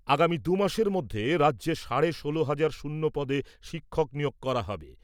আগামী দু'মাসের মধ্যে রাজ্যে সাড়ে ষোলো হাজার শূন্যপদে শিক্ষক নিয়োগ করা হবে।